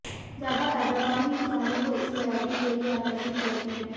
ज्यादा पैदावार ही किसानों को इस वैरायटी के लिए आकर्षित करती है